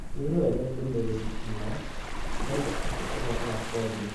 wĩrorere ndũmĩrĩri ino ĩrauga atĩa ũhoro wa kothi